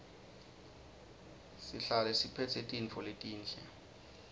sihlale siphetse tintfo letinhle